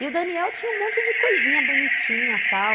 E o Daniel tinha um monte de coisinha bonitinha, tal.